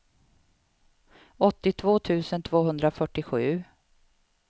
åttiotvå tusen tvåhundrafyrtiosju